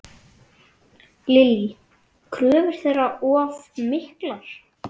Lillý: Kröfur þeirra of miklar?